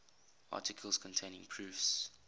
articles containing proofs